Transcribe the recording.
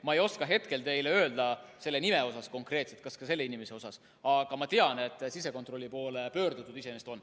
Ma ei oska hetkel teile öelda seda nime konkreetselt, et kas seda tehti ka selle inimese puhul, aga ma tean, et sisekontrolli poole pöördutud iseenesest on.